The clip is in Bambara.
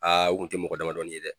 o kun tɛ mɔgɔ damadɔnin ye dɛ.